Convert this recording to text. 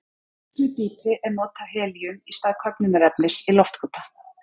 Á miklu dýpi er notað helíum í stað köfnunarefnis í loftkúta.